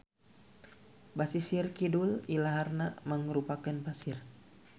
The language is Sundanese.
Basisir kidul ilaharna mangrupakeun pasir.